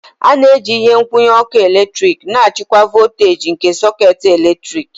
A na-eji ihe nkwụnye ọkụ eletrik na-achịkwa voltaji nke sekit eletriki.